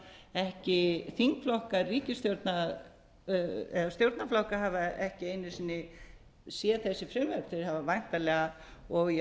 þau hafa ekki þingflokkar ríkisstjórnarinnar eða stjórnarflokkar hafa ekki einu sinni séð þessi frumvörp þau hafa væntanlega og í